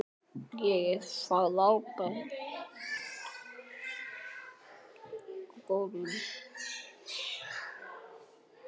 Friðrik og Sigrún.